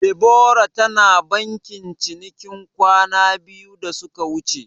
Debora tana bankin cinikin kwana biyu da suka wuce.